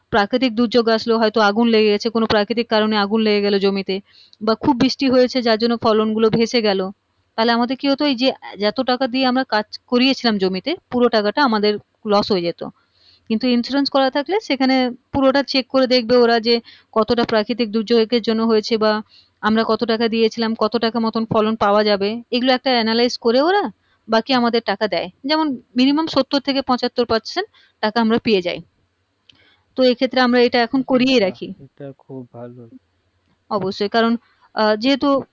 বাকি আমাদের টাকা দেয় যেমন minimum সত্তর থেকে পঁচাত্তর percent টাকা আমরা পেয়ে যাই তো এই ক্ষেত্রে আমরা এটা এখুন করিয়ে রাখি সেটা খুব ভালো অবশ্যই আহ যেহুতু